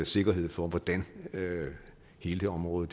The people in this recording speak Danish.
sikkerhed for hvordan hele det område